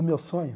O meu sonho?